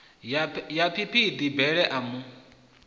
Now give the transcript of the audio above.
ya phiphiḓi bele a mu